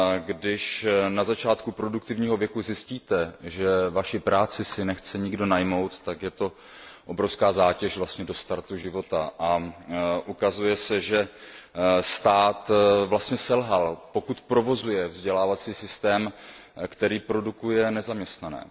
Když na začátku produktivního věku zjistíte, že vaši práci si nechce nikdo najmout, tak je to obrovská zátěž do startu života, a ukazuje se, že stát vlastně selhal, pokud provozuje vzdělávací systém, který produkuje nezaměstnané.